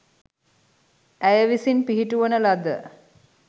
ඇය විසින් පිහිටුවන ලද